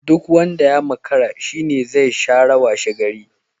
Duk wanda ya makara shi ne zi shara washegari.